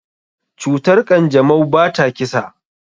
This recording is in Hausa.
Cutar kanjamau bata kisa.